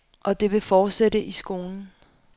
Og det vil fortsætte i skolen.